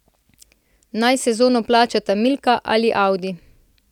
Naj sezono plačata Milka ali Audi.